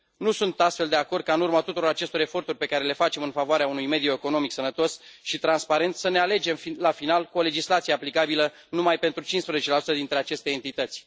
Nu sunt, astfel, de acord ca în urma tuturor acestor eforturi pe care le facem în favoarea unui mediu economic sănătos și transparent să ne alegem la final cu o legislație aplicabilă numai pentru 15 dintre aceste entități.